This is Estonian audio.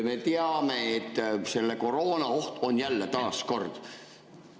Me teame, et jälle taas kord on koroonaoht.